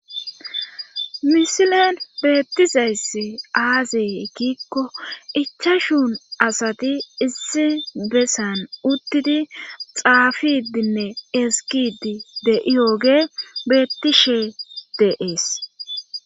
misilen beettizayssi aaze giikko ichashu asati issi besan uttidi xaafidinne ezggiiddi de7iyoge beetishe de7ees.